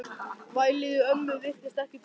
Vælið í ömmu virtist ekki trufla hann.